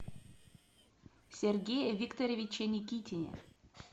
сергее викторовиче никитине